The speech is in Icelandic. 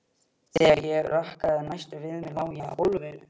Þegar ég rankaði næst við mér lá ég á gólfinu.